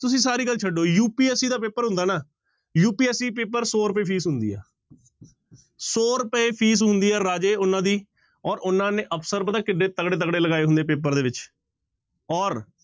ਤੁਸੀਂ ਸਾਰੀ ਗੱਲ ਛੱਡੋ UPSC ਦਾ ਪੇਪਰ ਹੁੰਦਾ ਨਾ UPSC ਪੇਪਰ ਸੌ ਰੁਪਏ ਫੀਸ ਹੁੰਦੀ ਹੈ ਸੌ ਰੁਪਏ ਫੀਸ ਹੁੰਦੀ ਹੈ ਰਾਜੇ ਉਹਨਾਂ ਦੀ ਔਰ ਉਹਨਾਂ ਨੇ ਅਫ਼ਸਰ ਪਤਾ ਕਿੱਢੇ ਤਕੜੇ ਤਕੜੇ ਲਗਾਏ ਹੁੰਦੇ ਆ ਪੇਪਰ ਦੇ ਵਿੱਚ ਔਰ